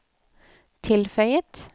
tilføyet